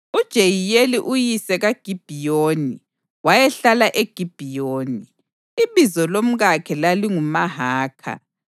UJeyiyeli uyise kaGibhiyoni wayehlala eGibhiyoni. Ibizo lomkakhe lalinguMahakha,